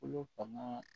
Kolo fan